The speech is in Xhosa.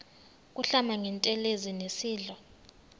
kuhlamba ngantelezi nasidlo